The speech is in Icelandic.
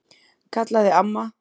kallaði amma.